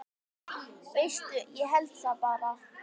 Veistu, ég held það bara.